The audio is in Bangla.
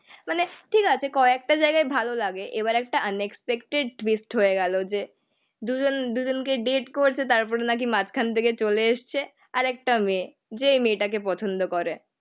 মানে ঠিক আছে কয়েকটা জায়গায় ভালো লাগে. এবার একটা আনএক্সপেকটেড মিসড হয়ে গেল যে জন, দুজনকে ডেট করেছে, তারপরে নাকি মাঝখান থেকে চলে এসেছে. আর একটা মেয়ে. যে মেয়েটাকে পছন্দ করে.